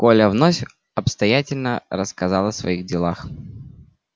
коля вновь обстоятельно рассказал о своих делах